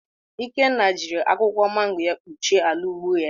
Ikenna jiri akwụkwọ mango kpuchie ala ugbo ya